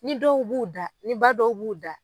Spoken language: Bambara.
Ni dɔw b'u da ni ba dɔw b'u da.